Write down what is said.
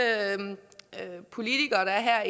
politikere der er